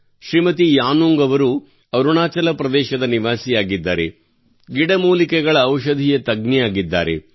ಶ್ರೀಮತಿ ಯಾನುಂಗ್ ಅವರು ಅರುಣಾಚಲ ಪ್ರದೇಶದ ನಿವಾಸಿಯಾಗಿದ್ದಾರೆ ಮತ್ತು ಗಿಡಮೂಲಿಕೆಗಳ ಔಷಧೀಯ ತಜ್ಞೆಯಾಗಿದ್ದಾರೆ